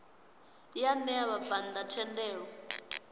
ya ṋea vhabvann ḓa thendelo